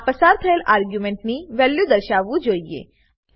આ પસાર થયેલ આર્ગ્યુમેન્ટ ની વેલ્યુ દર્શાવવું જોઈએ